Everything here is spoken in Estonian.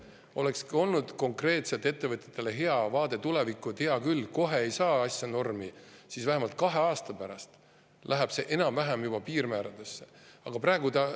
See olekski olnud konkreetselt ettevõtjatele hea vaade tulevikku, et hea küll, kohe ei saa asja normi, aga vähemalt kahe aasta pärast lähevad need piirmäärad enam-vähem juba.